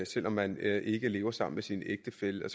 selv om man ikke lever sammen med sin ægtefælle og